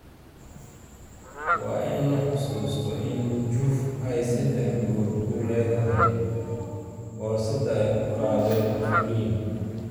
Waa in la xusuustaa in Juve ay seddex gool ku leedahay boorsada ay ku qaadeen Turin.